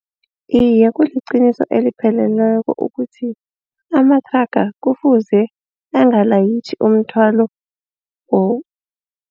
Iye kuliqiniso elipheleleko ukuthi amathraga kufuze angalayitjhi umthwalo